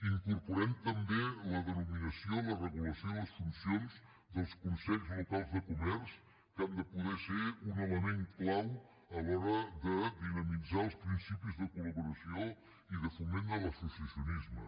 incorporem també la denominació la regulació i les funcions dels consells locals de comerç que han de poder ser un element clau a l’hora de dinamitzar els principis de collaboració i de foment de l’associacionisme